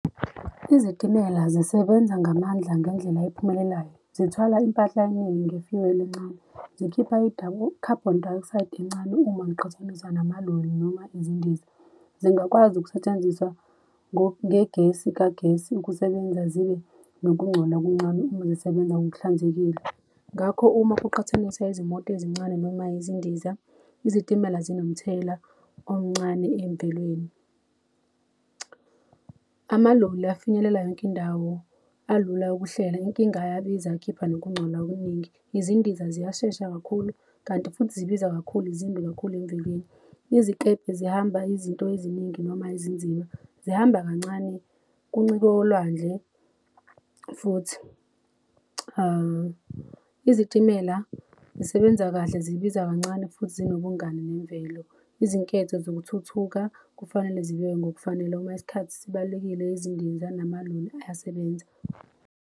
Izitimela zisebenza ngamandla ngendlela ephumelelayo. Zithwala impahla eningi encane. Zikhipha i-carbon dioxide encane uma ngiqhathanisa namaloli noma izindiza. Zingakwazi ukusetshenziswa ngegesi kagesi ukusebenza zibe nokungcola okuncane uma zisebenza ngokuhlanzekile. Ngakho uma kuqhathaniswa izimoto ezincane noma izindiza, izitimela zinomthelela omncane emvelweni. Amaloli afinyelela yonke indawo alula ukuhlela inkinga ayabiza akhipha nokungcola okuningi. Izindiza ziyashesha kakhulu kanti futhi zibiza kakhulu zimbi kakhulu emvelweni. Izikebhe zihamba izinto eziningi noma ezinzima zihamba kancane kuncike olwandle futhi izitimela zisebenza kahle zibiza kancane futhi zinobungani nemvelo. Izinketho zokuthuthuka kufanele zibekwe ngokufanele uma isikhathi sibalulekile izindiza namaloli ayasebenza.